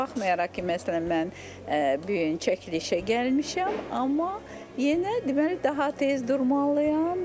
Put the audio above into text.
Baxmayaraq ki, məsələn mən bu gün çəkilişə gəlmişəm, amma yenə deməli daha tez durmalıyam.